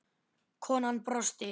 Konan brosti.